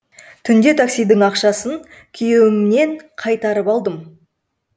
түнде таксидің ақшасын күйеуімнен қайтарып алдым